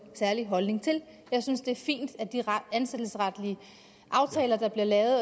særlig holdning til jeg synes det er fint at de ansættelsesretlige aftaler der bliver lavet